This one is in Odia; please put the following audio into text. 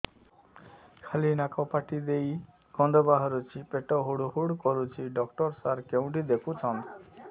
ଖାଲି ନାକ ପାଟି ଦେଇ ଗଂଧ ବାହାରୁଛି ପେଟ ହୁଡ଼ୁ ହୁଡ଼ୁ କରୁଛି ଡକ୍ଟର ସାର କେଉଁଠି ଦେଖୁଛନ୍ତ